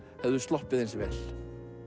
hefðu sloppið eins vel